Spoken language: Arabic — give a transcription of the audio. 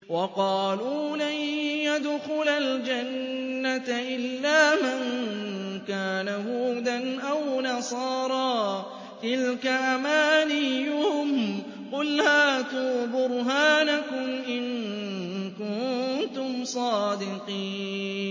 وَقَالُوا لَن يَدْخُلَ الْجَنَّةَ إِلَّا مَن كَانَ هُودًا أَوْ نَصَارَىٰ ۗ تِلْكَ أَمَانِيُّهُمْ ۗ قُلْ هَاتُوا بُرْهَانَكُمْ إِن كُنتُمْ صَادِقِينَ